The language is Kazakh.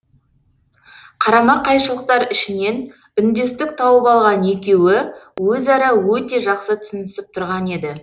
қарама қайшылықтар ішінен үндестік тауып алған екеуі өзара өте жақсы түсінісіп тұрған еді